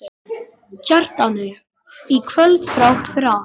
Kjartani í kvöld þrátt fyrir allt.